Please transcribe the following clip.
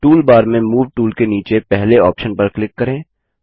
toolbar में move tool के नीचे पहले ऑप्शन पर क्लिक करें